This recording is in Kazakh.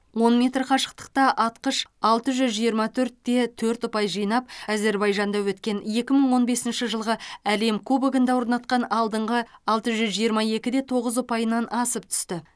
он метр қашықтықта атқыш алты жүз жиырма төрт те төрт ұпай жинап әзербайжанда өткен екі мың он бесінші жылғы әлем кубогында орнатқан алдыңғы алты жүз жиырма екі де тоғыз ұпайынан асып түсті